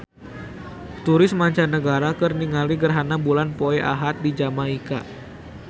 Turis mancanagara keur ningali gerhana bulan poe Ahad di Jamaika